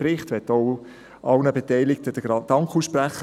Ich möchte allen Beteiligten den Dank aussprechen.